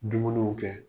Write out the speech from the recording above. Dumuniw kɛ